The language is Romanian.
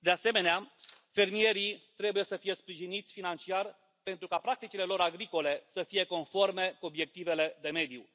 De asemenea, fermierii trebuie să fie sprijiniți financiar pentru ca practicile lor agricole să fie conforme cu obiectivele de mediu.